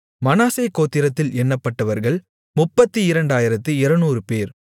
மனாசே கோத்திரத்தில் எண்ணப்பட்டவர்கள் 32200 பேர்